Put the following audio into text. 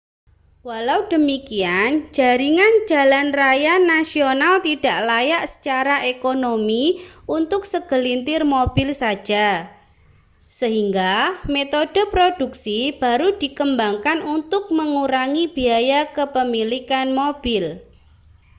walau demikian jaringan jalan raya nasional tidak layak secara ekonomi untuk segelintir mobil saja sehingga metode produksi baru dikembangkan untuk mengurangi biaya kepemilikan mobil